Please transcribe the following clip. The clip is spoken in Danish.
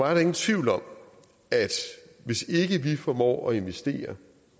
er der ingen tvivl om at hvis ikke vi formår at investere